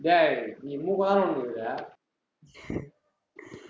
டேய், நீ மூக்கை தானே நோண்டின்னுருக்கிறே